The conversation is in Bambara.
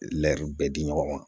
bɛɛ di ɲɔgɔn ma